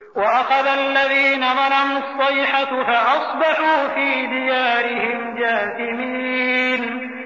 وَأَخَذَ الَّذِينَ ظَلَمُوا الصَّيْحَةُ فَأَصْبَحُوا فِي دِيَارِهِمْ جَاثِمِينَ